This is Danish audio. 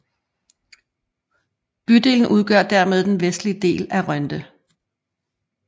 Bydelen udgør dermed den vestlige del af Rønde